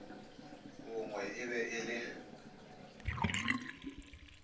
bongwe e be e le